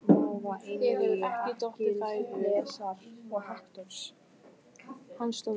Einnig veit ég að margt hefur þú heyrt um mig.